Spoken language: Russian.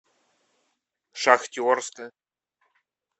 шахтерска